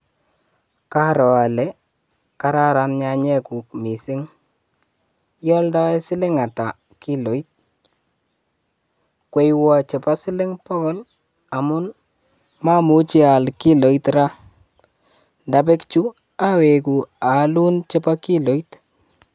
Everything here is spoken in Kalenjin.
Karoo olee karoron nyanyekuk mising, ioldoi siling'ata kiloit, kwoiwon chebo siling bokol amun momuche aal kiloit raa, ndabek chuu awekuu aalun chebo kiloit.